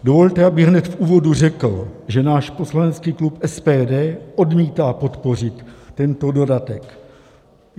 Dovolte, abych hned v úvodu řekl, že náš poslanecký klub SPD odmítá podpořit tento dodatek.